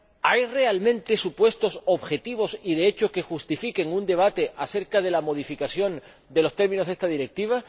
¿Hay realmente supuestos objetivos y de hecho que justifiquen un debate acerca de la modificación de los términos de esta Directiva?